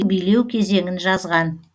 билеу кезеңін жазған